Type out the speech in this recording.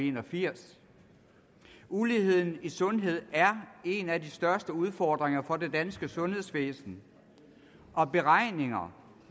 en og firs år uligheden gælder sundhed er en af de største udfordringer for det danske sundhedsvæsen og beregninger